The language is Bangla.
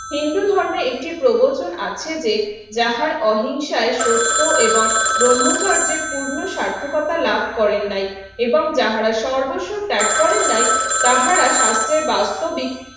হিন্দু ধর্মে একটি প্রবচন আছে যে যাহার অহিংসায় সত্য এবং ব্রহ্মচর্যে পূর্ণ সার্থকতা লাভ করেন নাই এবং যাহারা সর্বস্ব ত্যাগ করেন নাই তাহারা স্বাস্থ্যের বাস্তব